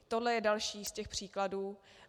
Tohle je další z těch příkladů.